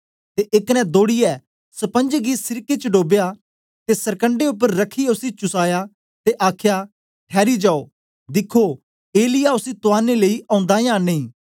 ते एक ने दौड़ीयै स्पंज गी सिरके च डोबया ते सरकंडे उपर रखियै उसी चुसाया ते आखया ठैरी जाओ दिखो एलिय्याह उसी तुआरने लेई ओंदा यां नेई